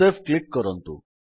save click କରନ୍ତୁ